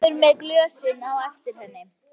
Kemur með glösin á eftir henni.